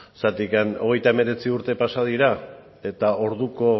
zergatikan treinta y nueve urte pasa dira eta orduko